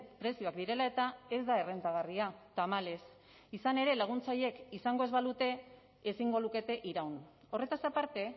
prezioak direla eta ez da errentagarria tamalez izan ere laguntza horiek izango ez balute ezingo lukete iraun horretaz aparte